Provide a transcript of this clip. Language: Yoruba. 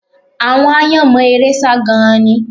Àwọn aáyán mọ eré sá gan-an ni